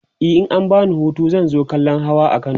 e in an bani Hutu zan zo kallan Hawa a kano